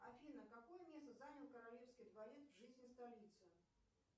афина какое место занял королевский дворец в жизни столицы